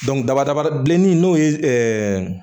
daba daba bilenni n'o ye